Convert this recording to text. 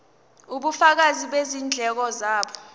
ubufakazi bezindleko zabo